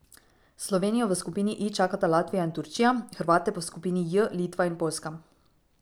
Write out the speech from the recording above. Slovenijo v skupini I čakata Latvija in Turčija, Hrvate pa v skupini J Litva in Poljska.